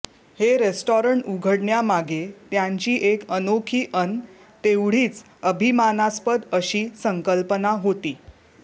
हे रेस्टॉरंट उघडण्यामागे त्यांची एक अनोखी अन् तेवढीच अभिमानास्पद अशी संकल्पना होती